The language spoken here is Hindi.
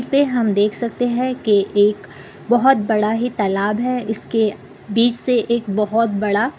तें हम देख सकते हैं के एक बहोत बड़ा ही तालाब है। इसके बीच से एक बहोत बड़ा--